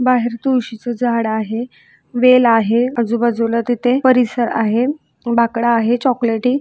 तुळशीच झाड आहे वेल आहे आजुबाजूला तिथे परिसर आहे बाकडा आहे चॉकलेटी.